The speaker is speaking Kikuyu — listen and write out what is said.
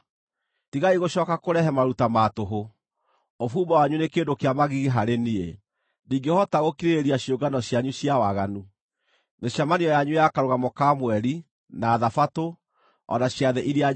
Tigai gũcooka kũrehe maruta ma tũhũ! Ũbumba wanyu nĩ kĩndũ kĩa magigi harĩ niĩ. Ndingĩhota gũkirĩrĩria ciũngano cianyu cia waganu: mĩcemanio yanyu ya Karũgamo ka Mweri, na Thabatũ, o na ciathĩ iria njathane.